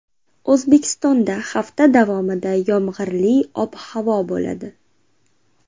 O‘zbekistonda hafta davomida yomg‘irli ob-havo bo‘ladi.